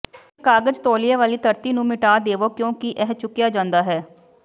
ਇੱਕ ਕਾਗਜ਼ ਤੌਲੀਏ ਵਾਲੀ ਧਰਤੀ ਨੂੰ ਮਿਟਾ ਦੇਵੋ ਕਿਉਂਕਿ ਇਹ ਚੁੱਕਿਆ ਜਾਂਦਾ ਹੈ